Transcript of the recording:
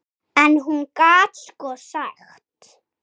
En hún gat sko sagt.